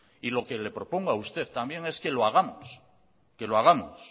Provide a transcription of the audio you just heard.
y lo que le propongo a usted también es que lo hagamos que lo hagamos